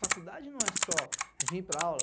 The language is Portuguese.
Faculdade não é só vir para aula.